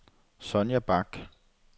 Sonja Bak